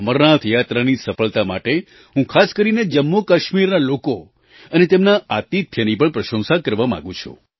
અમરનાથ યાત્રાની સફળતા માટે હું ખાસ કરીને જમ્મુકાશ્મીરના લોકો અને તેમના આતિથ્યની પણ પ્રશંસા કરવા માગું છું